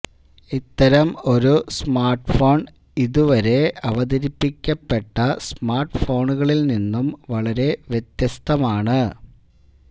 ഇത്തരം ഒരു സ്മാർട്ഫോൺ ഇതുവരെ അവതരിപ്പിക്കപ്പെട്ട സ്മാർട്ഫോണുകളിൽ നിന്നും വളരെ വ്യത്യസ്തമാണ്